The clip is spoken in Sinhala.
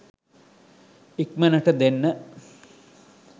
ඉක්මනට දෙන්න?